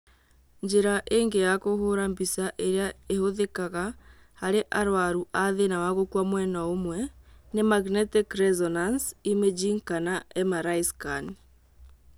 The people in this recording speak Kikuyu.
Njĩra ĩngĩ ya kũhũra mbica irĩa ihũthĩkaga harĩ arwaru a thĩna wa gũkua mwena ũmwe nĩ magnetic resonance imaging kana MRI scan.